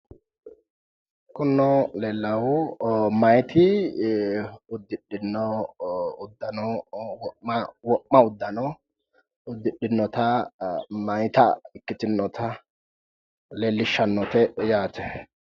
Kunino leellaahu meyati uddidhino uddano wo'ma uddano uddidhinota meyata ikkitinota leellishshannote yaate